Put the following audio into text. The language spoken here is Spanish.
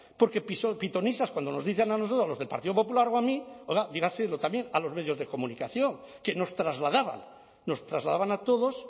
porque pitonisas cuando nos dicen a nosotros los del partido popular o a mí oiga dígaselo también a los medios de comunicación que nos trasladaban nos trasladaban a todos